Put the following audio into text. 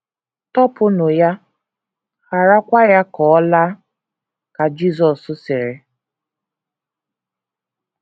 “ Tọpụnụ ya, gharakwa ya ka ọ laa, ” ka Jisọs sịrị.